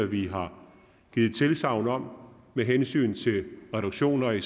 vi har givet tilsagn om med hensyn til reduktioner i